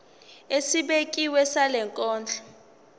esibekiwe sale nkonzo